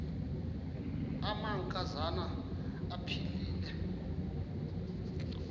amanka zana aphilele